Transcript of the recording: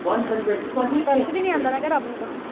ਤਰਸ ਵੀ ਨਹੀਂ ਆਂਦਾ ਰੱਬ ਨੂੰ ਮੈਂ ਕਿਹਾ